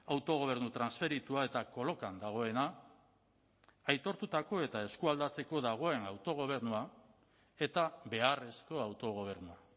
autogobernu transferitua eta kolokan dagoena aitortutako eta eskualdatzeko dagoen autogobernua eta beharrezko autogobernua